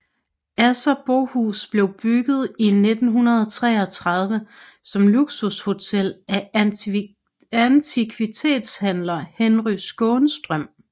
Asserbohus blev bygget i 1933 som luksushotel af antikvitetshandler Henry Skånstrøm